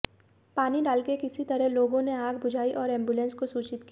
पानी डालकर किसी तरह लोगों ने आग बुझाई और एंबुलेंस को सूचित किया